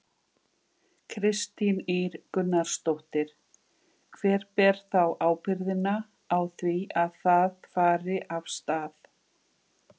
Kristín Ýr Gunnarsdóttir: Hver ber þá ábyrgðina á því að það fari af stað?